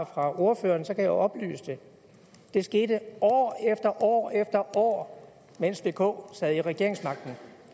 fra ordføreren kan jeg jo oplyse det det skete år efter år efter år mens vk sad med regeringsmagten